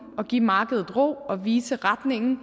og give markedet ro og vise retningen